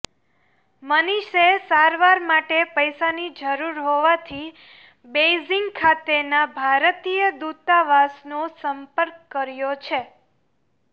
મનિષે સારવાર માટે પૈસાની જરૂર હોવાથી બેઇઝિંગ ખાતેના ભારતીય દૂતાવાસનો સંપર્ક કર્યો છે